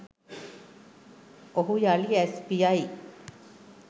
ඔහු යළි ඇස් පියයි